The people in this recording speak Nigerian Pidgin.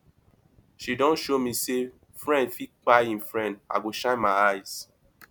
she don show me sey friend fit kpai im friend i go shine my eyes